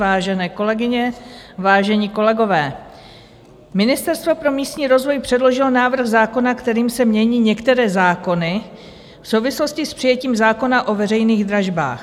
Vážené kolegyně, vážení kolegové, ministerstvo pro místní rozvoj předložilo návrh zákona, kterým se mění některé zákony v souvislosti s přijetím zákona o veřejných dražbách.